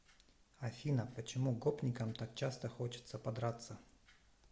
афина почему гопникам так часто хочется подраться